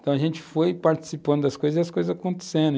Então, a gente foi participando das coisas e as coisas acontecendo.